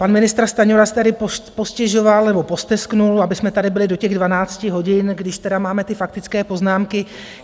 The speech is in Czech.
Pan ministr Stanjura si tady postěžoval nebo posteskl, abychom tady byli do těch 12 hodin, když teda máme ty faktické poznámky.